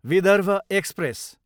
Vidarbha express